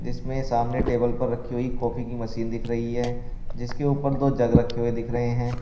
इसमें सामने टेबल पर रखी हुई कॉफी की मशीन दिख रही है जिसके ऊपर दो जग रखे हुए दिख रहे हैं।